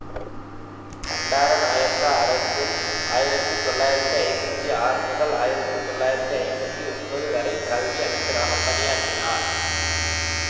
பண்டாரநாயக்கா அரசில் ஆயிரத்தி தொளாயிரத்தி ஐம்பத்தி ஆறு முதல் ஆயிரத்தி தொளாயிரத்தி ஐம்பத்தி ஒன்பது வரை கல்வி அமைச்சராக பணியாற்றினார்